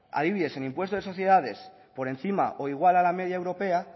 adibidez el impuesto de sociedades por encima o igual a la media europea